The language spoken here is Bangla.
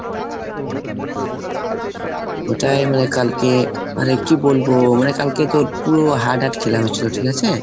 ওটাই মানে কালকে আরে কি বলবো মানে কালকে তো পুরো hard hard খেলা হয়েছিল, ঠিক আছে?